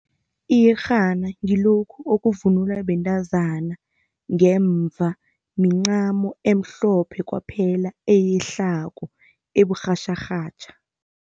Iyerhana ngilokhu okuvunulwa bentazana ngemva mincamo emhlophe kwaphela eyehlako, uburhatjharhatjha.